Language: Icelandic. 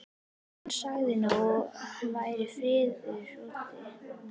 Hann sagði að nú væri friðurinn úti.